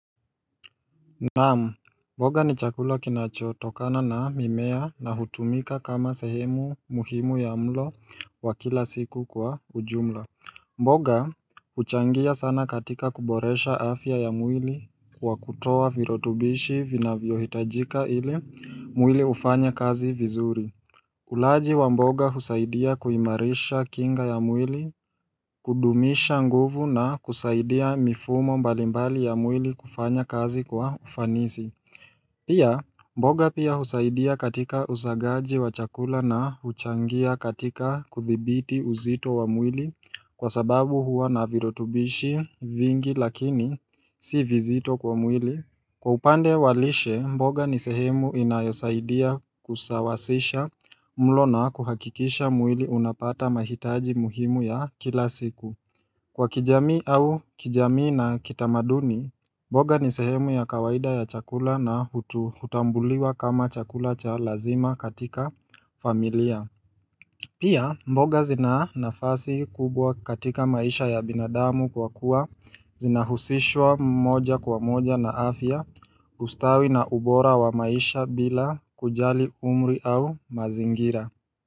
Naam mboga ni chakula kinachotokana na mimea na hutumika kama sehemu muhimu ya mlo wa kila siku kwa ujumla mboga huchangia sana katika kuboresha afya ya mwili kwa kutoa virutubishi vinavyohitajika ili mwili ufanye kazi vizuri Ulaji wa mboga husaidia kuimarisha kinga ya mwili, kudumisha nguvu na kusaidia mifumo mbalimbali ya mwili kufanya kazi kwa ufanisi. Pia mboga pia husaidia katika usagaji wa chakula na huchangia katika kuthibiti uzito wa mwili kwa sababu huwa na virutubishi vingi lakini si vizito kwa mwili. Kwa upande wa lishe, mboga ni sehemu inayosaidia kusawasisha mlo na kuhakikisha mwili unapata mahitaji muhimu ya kila siku Kwa kijamii au kijamii na kitamaduni, mboga ni sehemu ya kawaida ya chakula na hutambuliwa kama chakula cha lazima katika familia Pia mboga zina nafasi kubwa katika maisha ya binadamu kwa kuwa zina husishwa moja kwa moja na afya ustawi na ubora wa maisha bila kujali umri au mazingira.